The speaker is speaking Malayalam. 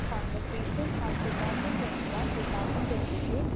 speaker 1 conversation of two thousand twenty one two thousand twenty to